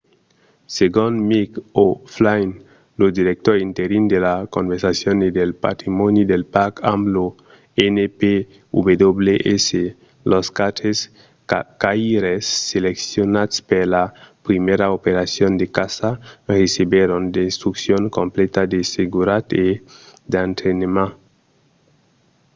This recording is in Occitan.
segon mick o'flynn lo director interin de la conservacion e del patrimòni del parc amb lo npws los quatre caçaires seleccionats per la primièra operacion de caça recebèron d’instruccions completa de seguretat e d'entrainament